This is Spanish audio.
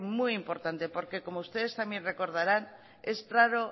muy importante porque como ustedes también recordarán es raro